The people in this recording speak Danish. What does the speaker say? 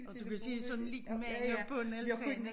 Og du kan se sådan en lille mand oppe på en altan ik